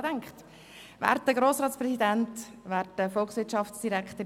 Manchmal geht es schneller, als man denkt.